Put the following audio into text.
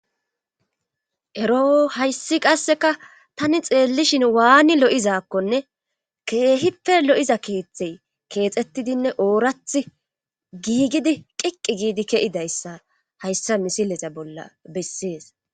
ero hayssi qasseka tani xeellishin waani lo7izakkonne keehippe lo7iza keeththey keexettidinne oorath giigidi qiqqi giidi ke7idayssa hayssa misileta bolla bessees